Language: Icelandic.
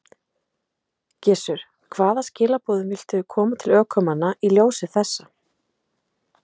Gissur: Hvaða skilaboðum viltu koma til ökumanna í ljósi þessa?